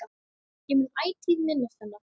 Ég mun ætíð minnast hennar.